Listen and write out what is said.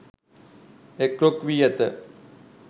එක් රොක් වී ඇත.